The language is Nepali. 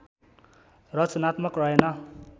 रचनात्मक रहेन